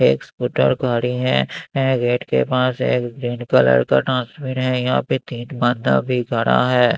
एक स्कूटर खड़ी हैं ए गेट के पास एक ग्रीन कलर का ट्रांसमीन हैं यहाँ पे तीन बंदा भी खड़ा हैं।